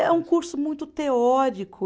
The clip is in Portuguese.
É um curso muito teórico.